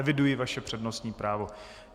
Eviduji vaše přednostní právo.